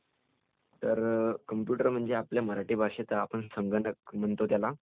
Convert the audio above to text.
तर.....कम्प्युटर म्हणजे आपल्या मराठी भाषेत आपण संगणक म्हणतो त्याला